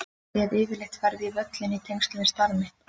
Ég hef yfirleitt farið á völlinn í tengslum við starf mitt.